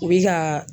U bɛ ka